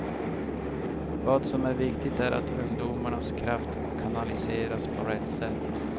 Vad som är viktigt är att ungdomarnas kraft kanaliseras på rätt sätt.